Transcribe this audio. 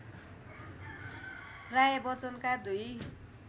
राय बच्चनका दुई